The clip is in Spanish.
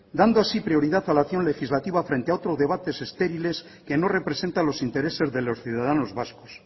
dando así prioridad a la acción legislativa frente a otros debates estériles que no representa los intereses de los ciudadanos vascos